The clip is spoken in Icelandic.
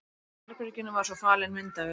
Í herberginu var svo falin myndavél.